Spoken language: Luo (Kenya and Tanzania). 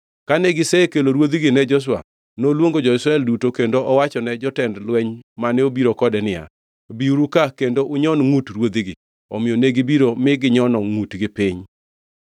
Kane gisekelo ruodhigi ne Joshua, noluongo jo-Israel duto kendo owachone jotend lweny mane obiro kode niya, “Biuru ka kendo unyon ngʼut ruodhigi.” Omiyo negibiro mi ginyono ngʼutgi piny.